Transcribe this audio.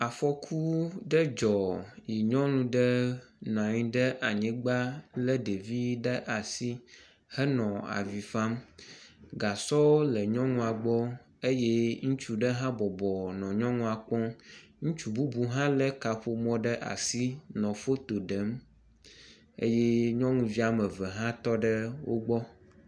afɔku ɖe dzɔ yi nyɔnu ɖe nɔnyi ɖe anyigbã le ɖevi ɖe asi henɔ avifam gasɔ nɔ nyɔnua gbɔ eye ŋutsu ɖe hã bɔbɔ nɔ nyɔnuɔ kpɔm ŋutsu bubu hã le kaƒomɔ ɖe asi nɔ fotoɖem eye nyɔŋuvi ameve hã tɔɖe wógbɔ